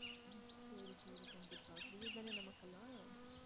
கண்டிப்பா free தானே நமக்கெல்லாம்